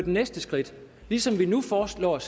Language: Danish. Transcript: næste skridt ligesom vi nu foreslår at